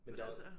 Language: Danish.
Men altså